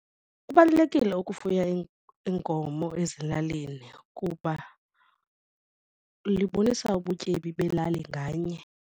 Kubalulekile ukufuya iinkomo ezilalini kuba libonisa ubutyebi belali nganye.